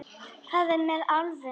Hvað er með álfum?